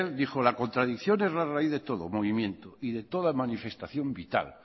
dijo la contradicción es la raíz de todo movimiento y de toda manifestación vital